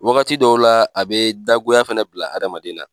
Wagati dɔw la a be dagoya fana bila adamaden na